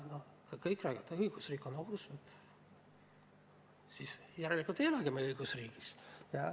Kui kõik räägivad, et õigusriik on ohus, siis järelikult me ei elagi me õigusriigis.